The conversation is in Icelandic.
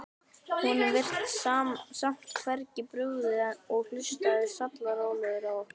Honum virtist samt hvergi brugðið og hlustaði sallarólegur á okkur.